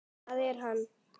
Það er hann.